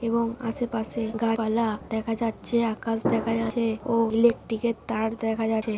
এবং আশেপাশে গাছ পালা দেখা যাচ্ছে আকাশ দেখা যাচ্ছে ও ইলেকট্রিক এর তার দেখা যাচ্ছে ।